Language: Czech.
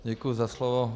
Děkuju za slovo.